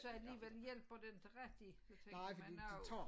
Og så alligevel hjælper det ikke rigtig for man har jo